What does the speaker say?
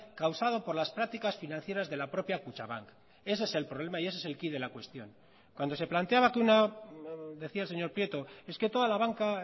causado por las prácticas financieras de la propia kutxabank ese es el problema y ese es el quid de la cuestión cuando se planteaba que una decía el señor prieto es que toda la banca